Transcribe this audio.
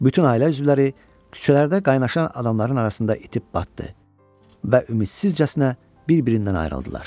Bütün ailə üzvləri küçələrdə qaynaşan adamların arasında itib batdı və ümidsizcəsinə bir-birindən ayrıldılar.